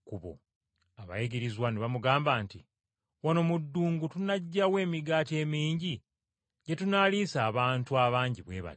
Abayigirizwa ne bamugamba nti, “Wano mu ddungu tunaggya wa emigaati emingi gye tunaaliisa abantu abangi bwe bati?”